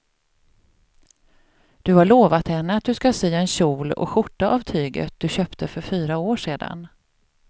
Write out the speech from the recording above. Du har lovat henne att du ska sy en kjol och skjorta av tyget du köpte för fyra år sedan.